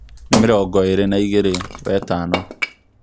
nī mīrongo īri na īgīri wetano